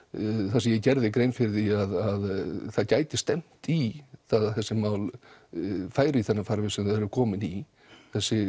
þar sem ég gerði grein fyrir því að það gæti stefnt í það að þessi mál færu í þennan farveg sem þau eru komin í þessi